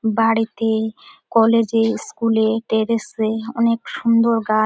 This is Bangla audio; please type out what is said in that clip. বাড়িতে কলেজ স্কুলে টেরেসে অনেক সুন্দর গাছ।